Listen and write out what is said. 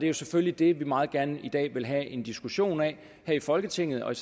jo selvfølgelig det vi meget gerne i dag vil have en diskussion af her i folketinget og i